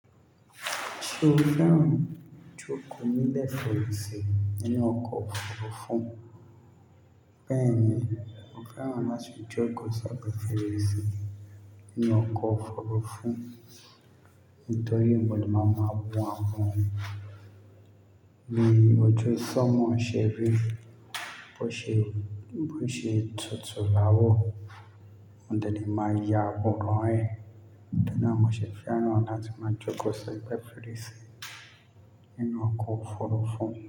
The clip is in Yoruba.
Ṣé o fẹ́ràn joko nile fèrèsé inú ọkọ̀ òfurufú, bẹ́ẹ̀ni, mo fẹ́ràn láti jókòó sí egbe fèrèsé ninú ọkọ̀ òfurufú nítorí ìwo lo máa maa wo awon. Bi ojú ṣanmó ṣeri bó ṣe, bó ṣe tutù l'àwọ̀, mo dẹ́lẹ̀ máa yá àwòrán ẹ́. Níto ri na mo ṣe fẹ́ràn láti máa jókòó segbe fèrèsé ninú ọkọ̀ òfurufú.